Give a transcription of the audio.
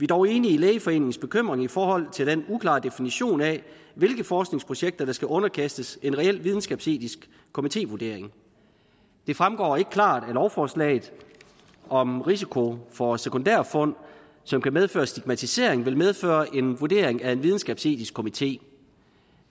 dog enige i lægeforeningens bekymring i forhold til den uklare definition af hvilke forskningsprojekter der skal underkastes en reel videnskabsetisk komitévurdering det fremgår ikke klart af lovforslaget om risiko for sekundærfund som kan medføre stigmatisering vil medføre en vurdering af en videnskabsetisk komité